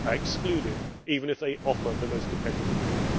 excluded, even if they offer the most competitive bid.